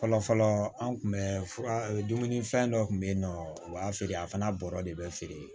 Fɔlɔ fɔlɔ an tun bɛ fura fɛn dɔ kun bɛ yen nɔ u b'a feere a fana bɔrɔ de bɛ feere